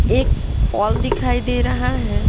एक पॉल दिखाई दे रहा है।